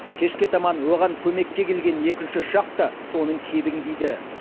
кешке таман оған көмекке келген екінші ұшақ та соның кебін киді